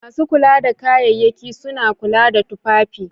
Masu kula da kayayyaki suna kula da tufafi.